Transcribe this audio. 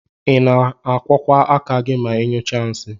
Ina akwọkwa aka ma inyụọsie nsi?